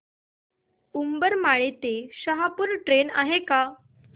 उंबरमाळी ते शहापूर ट्रेन आहे का